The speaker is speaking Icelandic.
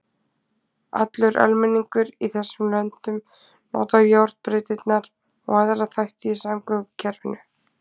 Allur almenningur í þessum löndum notar járnbrautirnar og aðra þætti í samgöngukerfinu.